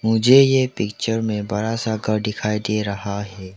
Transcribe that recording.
मुझे ये पिक्चर में बड़ा सा का घर दिखाई दे रहा है।